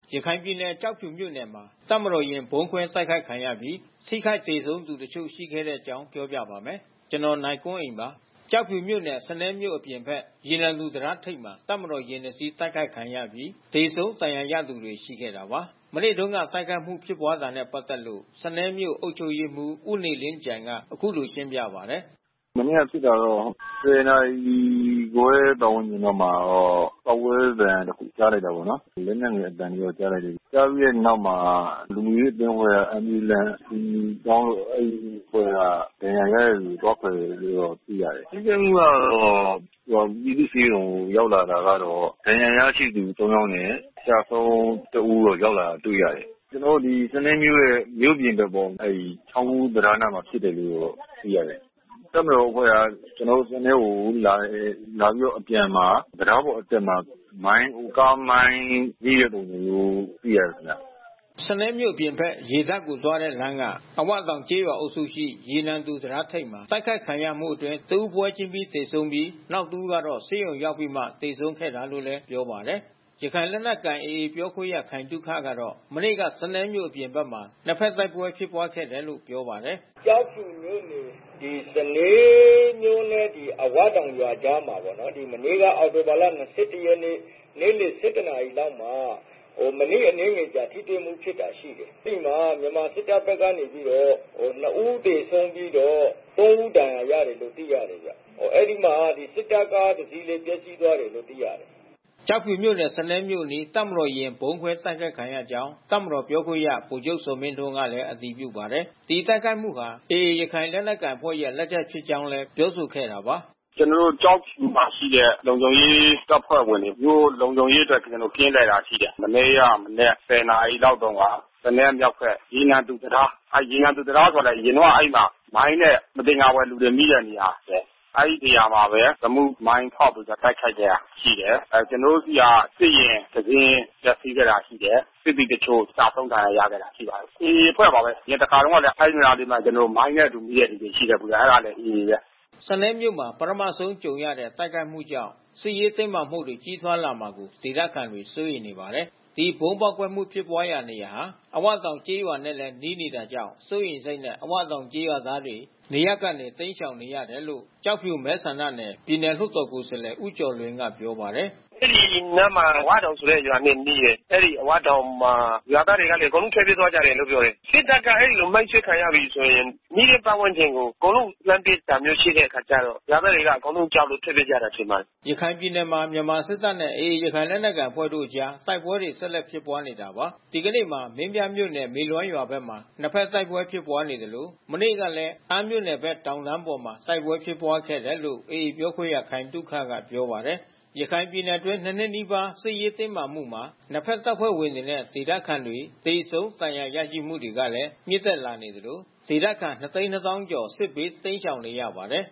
ရခိုင်ပြည်နယ်၊ ကျောက်ဖြူမြို့နယ်မှာ တပ်မတော်ယာဉ် ဗုံးခွဲတိုက်ခိုက်ခံခဲ့ရပြီး ထိခိုက်သေဆုံးသူတချို့ ရှိခဲ့တဲ့အကြောင်းကို ဗွီအိုအေမြန်မာပိုင်းသတင်းထောက် ကိုနိုင်ကွန်းအိန်က ပြောပြပါမယ်။ ကျောက်ဖြူမြို့နယ် စနဲမြို့အပြင်ဘက် ရေနံသူ တံတားထိပ်မှာ တပ်မတော်ယာဉ်တစီး တိုက်ခိုက်ခံခဲ့ရပြီး သေဆုံးဒဏ်ရာရသူတွေ ရှိခဲ့တာပါ။ မနေ့တုန်းက တိုက်ခိုက်မှုဖြစ်ပွားခဲ့တာနဲ့ ပတ်သက်လို့ စနဲမြို့အုပ်ချုပ်ရေးမှူး ဦးနေလင်းကြိုင်က အခုလို ရှင်းပြပါတယ်။ “မနေ့ကဖြစ်တာတော့ ၁၀ နာရီခွဲပါတ်ဝန်းကျင်လောက်မှာ ပေါက်ကွဲသံ တခုကြားလိုက်တာပေါ့နော်။ လက်နက်ငယ် အသံတွေတော့ကြားလိုက်တယ်။ ကြားပြီးတဲ့နောက်မှာ လုံခြုံရေးအဖွဲ့ Ambulance အကူညီတောင်းလို့ အဲဒီအဖွဲ့က ဒဏ်ရာရတဲ့သူတွေ သွားကယ်လို့တာ့သိရတယ်။ ထိခိုက်မှုကတော့ ပြည်သူ့ဆေးရုံရောက်တော့ ဒဏ်ရာရရှိသူ ၃ ယောက်နဲ့ ကျဆုံးတဦး ရောက်လာတာတွေ့ရတယ်။ ကျနော်တို့ ဒီစနဲမြို့ရဲ့မြို့ပြင်ဘက်ပေါ့။ အဲဒီချောင်းကူးတံတားနားမှာ ဖြစ်တယ်လို့တော့သိရတယ်။ တပ်မတော်အဖွဲ့ဟာ ကျနော်တို့ စနဲကို ဝင်လာတယ်။ လာပြီးတော့အပြန်မှာ တံတားပေါ်အတက်မှာ မိုင်း ကားမိုင်းထိတဲ့ပုံစံမျိုးသိရတယ်ခင်ဗျ။” စနဲမြို့အပြင်ဘက် ရေတပ်ကိုသွားတဲ့လမ်းက အဝတောင်ကျေးရွာအုပ်စုရှိ ရေနံသူ တံတားထိပ်မှာ တိုက်ခိုက်ခံရမှုအတွင်း တဦး ပွဲချင်းပြီး သေဆုံးခဲ့ပြီး နောက်တဦးကတော့ ဆေးရုံရောက်ပြီးမှ သေဆုံးခဲ့တာလို့လည်း ပြောပါတယ်။ ရခိုင်လက်နက်ကိုင် AA အဖွဲ့ပြောခွင့်ရခိုင်သုခကတော့ မနေ့က စနဲမြို့အပြင်ဘက်မှာ နှစ်ဘက်တိုက်ပွဲဖြစ်ပွါးခဲ့တယ်လို့ ပြောပါတယ်။ “ကျောက်ဖြူမြို့နယ် စနဲမြို့နဲ့ အဝတောင်ရွာကြားမှာပေါ့။ မနေ့က အောက်တိုဘာလ ၂၁ ရက်နေ့ နေ့လယ် ၁၁ နာရီလောက်မှာ မနေ့ အနည်းငယ်ကြာထိတွေ့မှု ဖြစ်တာရှိတယ်။ အဲဒီမှာ မြန်မာစစ်တပ်ဘက်ကနေပြီးတော့ ၂ ဦးသေဆုံး ပြီးတော့ ၃ ဦးဒဏ်ရာရတယ်လို့ သိရတယ်ဗျ။ အဲဒီမှာ စစ်တပ်ကားတစီးလည်း ပျက်စီးသွားတယ်လို့ သိရတယ်ဗျ။” ကျောက်ဖြူမြို့နယ်၊ စနဲမြို့အနီး တပ်မတော်ယာဉ် ဗုံးခွဲတိုက်ခိုက်ခံရကြောင်း တပ်မတော်ပြောခွင့်ရ ဗိုလ်ချုပ် ဇော်မင်းထွန်းကလည်း အတည်ပြုပါတယ်။ တိုက်ခိုက်မှုဟာ AA လက်နက်ကိုင်အဖွဲ့ရဲ့ လက်ချက်ဖြစ်ကြောင်းလည်း ပြောဆိုခဲ့တာပါ။ “ကျနော်တို့ ကျောက်ဖြူမှာရှိတဲ့ လုံခြုံရေးတပ်ဖွဲ့ဝင်တွေ သူတို့ လုံခြုံရေးအတွက်ကင်းလှည့်တာရှိတယ်။ မနေ့ကမနက် ၁၀ နာရီလောက်တုန်းက စနဲရဲ့မြောက်ဘက် ရေနံသူ တံတား။ အဲဒီရေနံသူတံတားဆိုတာ အရင်တုန်းကအဲဒီမှာမိုင်းနဲ့ မသင်္ကာသူတွေ မိတဲ့နေရာဘဲ။ အဲဒီနေရာမှာပဲ ရီမုမိုင်းနဲ့ ဖေါက်ပြီးတိုက်ခိုက်ခဲ့တာရှိတယ်။ ကျနော်တို့ဆီက စစ်ယာဉ်တစင်း ပျက်စီးခဲ့တာရှိတယ်။ စစ်သည်တချို့ကျဆုံးဒဏ်ရာရခဲ့တာ ရှိပါတယ်။ AAအဖွဲ့ပါဘဲ။ အရင်တခါတုန်းကလည်း အဲဒီနေရာလေးမှာ ကျနော်တို့ မိုင်းနဲ့အတူမိတဲ့သူ ရှိတယ်။ အဲတာလည်း AA ပဲ။” စနဲမြို့မှာ ပထမဆုံးကြုံရတဲ့ တိုက်ခိုက်မှုကြောင့် စစ်ရေးတင်းမာမှုတွေ ကြီးထွားလာမှာကို ဒေသခံတွေစိုးရိမ်နေပါတယ်။ ဒီဗုံးပေါက်ကွဲမှုဖြစ်ပွါးတဲ့နေရာဟာ အဝတောင်ကျေးရွာနဲ့လဲနီးနေတာကြာင့် စိုးရိမ်စိတ်နဲ့ အဝတောင် ကျေးရွာ သားတွေ နေရပ်ကနေတိမ်းရှောင်နေရတယ်လို့ ကျောက်ဖြူမဲဆန္ဒနယ် ပြည်နယ်လွှတ်တာ် ကိုယ်စားလှယ် ဦးကျော်လွင်ကပြောပါတယ်။ “အဲဒီနားမှာ အဝတောင်ဆိုတဲ့ရွာနဲ့ နီးတယ်။ အဲဒီအဝတောင်မှာ ရွာသားတွေအကုန်လုံးထွက်ပြေးကြတယ်လို့ ပြောတယ်။ စစ်တပ်က အဲဒီလိုမိုင်းဆွဲခံရပြီးဆိုရင် နီးတဲ့ ပတ်ဝန်းကျင်ကို အကုန်လုံး လှမ်းပစ်တာမျိုးရှိတဲ့ အခါကျတော့ ရွာသားတွေက အကုန်လုံးကြောက်လို့ ထွက်ပြေးကြတာထင်ပါတယ်။” ရခိုင်ပြည်နယ်မှာ မြန်မာစစ်တပ်နဲ့ AA ရခိုင်လက်နက်ကိုင်အဖွဲ့တို့အကြား တိုက်ပွဲတွေဆက်လက်ဖြစ်ပွါးနေတာပါ။ ဒီကနေ့မှာ မင်းပြားမြို့နယ် မေလွမ်းရွာဘက်မှာ နှစ်ဘက်တိုက်ပွဲဖြစ်ပွါးနေသလို မနေ့ကလည်း အမ်းမြို့နယ်ဘက် တောင်တန်းပေါ်မှာ တိုက်ပွဲဖြစ်ပွါးခဲ့တယ်လို့ AA ပြောခွင့်ရ ခိုင်သုခက ပြောပါတယ်။ ရခိုင်ပြည်နယ်အတွင်း ၂ နှစ်နီးပါးစစ်ရေးတင်းမာမှုမှာ နှစ်ဘက်တပ်ဖွဲ့ဝင်တွေနဲ့ ဒေသခံတွေ သေဆုံး ဒဏ်ရာရရှိမှုတွေကလည်း မြင့်တက်လာနေသလို ဒေသခံ ၂၂၀,၀၀၀ ကျော် စစ်ဘေးတိမ်းရှောင်နေရပါတယ်